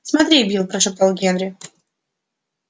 смотри билл прошептал генри